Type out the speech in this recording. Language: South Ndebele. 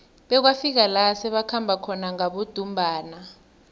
bekwafika la sebakhamba khona ngabodumbana